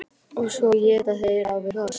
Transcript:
Og svo éta þeir á við hross!